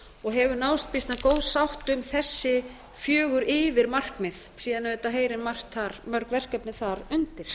og hefur náðst býsna góð sátt um þessi fjögur yfirmarkmið síðan heyra mörg verkefni þar undir